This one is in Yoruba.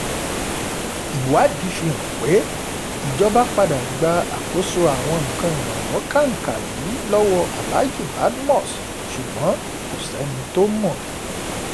ìwádìí fihàn pé ìjọba padà gba àkóso àwọn nǹkan ìrànwọ́ kòǹkà yìí lọ́wọ́ alhaji badmus ṣùgbọ́n kò sẹ́ni tó mọ̀